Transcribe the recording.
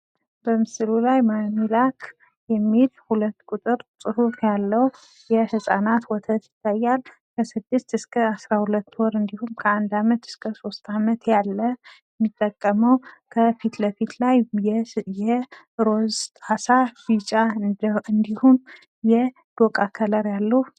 በምስሉ ላይ ማሚ ላክ የሚል 2 ቁጥር ጽሁፍ ያለው የ ህጻናት ወተት ይታያል፡፡ ከ 6 እስከ 12 ወር እንዲሁም ከ 1 አመት እስከ 3 አመትያለ የሚጠቀመው ከ ፊት ለፊት ላይ የ ሮዝ ጣሳ የ ዶቃ ከለር ያሉ